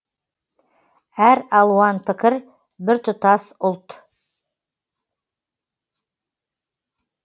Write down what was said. әр алуан пікір біртұтас ұлт